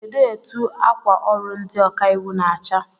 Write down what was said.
Kedụ etụ akwa ọrụ ndị ọkà íwú na-acha?